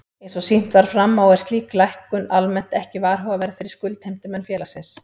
Eins og sýnt var fram á er slík lækkun almennt ekki varhugaverð fyrir skuldheimtumenn félagsins.